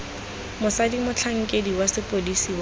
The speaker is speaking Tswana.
mosadi motlhankedi wa sepodisi wa